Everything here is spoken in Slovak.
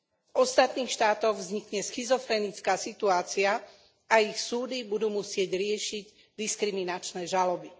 V ostatných štátoch vznikne schizofrenická situácia a ich súdy budú musieť riešiť diskriminačné žaloby.